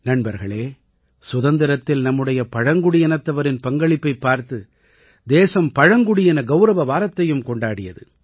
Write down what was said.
நண்பர்களே சுதந்திரத்தில் நம்முடைய பழங்குடியினத்தவரின் பங்களிப்பைப் பார்த்து தேசம் பழங்குடியின கௌரவ வாரத்தையும் கொண்டாடியது